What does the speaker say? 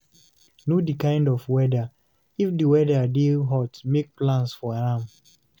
Know di kind of weather, if di weather dey hot make plans for am